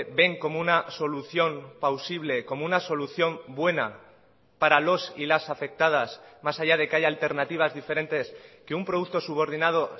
ven como una solución pausible como una solución buena para los y las afectadas más allá de que haya alternativas diferentes que un producto subordinado